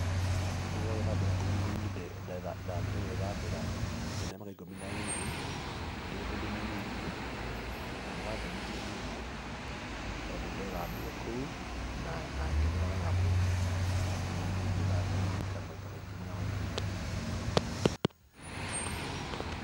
Ũndũ ũyũ wa gwĩthambĩra ngurunga-inĩ ndathire gwĩthambĩra ndĩ na mĩaka ikũmi na ĩrĩ, ndĩ mũndũ mũnini na nĩ wangenirie mũno tondũ ndethambĩire kou, na ngĩthera wega mũno na nĩ nyendaga kũririkana maita maingĩ marĩa maingĩ.